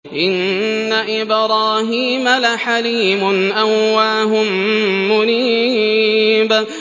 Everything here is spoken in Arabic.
إِنَّ إِبْرَاهِيمَ لَحَلِيمٌ أَوَّاهٌ مُّنِيبٌ